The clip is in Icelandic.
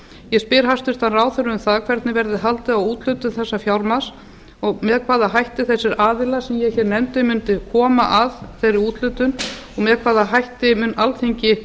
ég spyr hæstvirtur ráðherra um það hvernig verður haldið á úthlutun þessa fjármagns og með hvaða hætti þessir aðilar sem ég hér nefndi mundu koma að þeirri úthlutun og með hvaða hætti mun alþingi